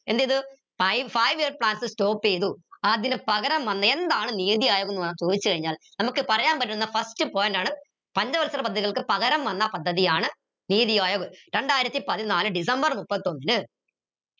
എന്തിത് five year plans stop എയ്തു അതിന് പകരം വന്ന എന്താണ് നീതി അയോഗ എന്ന് ചോദിച്ച് കഴിഞ്ഞാൽ നമക്ക് പറയാൻ പറ്റുന്ന first point ആണ് പഞ്ചവത്സര പദ്ധതികൾക്ക് പകരം വന്ന പദ്ധതിയാണ് രണ്ടായിരത്തി പതിനാല് ഡിസംബർ മുപ്പത്തൊന്നിന്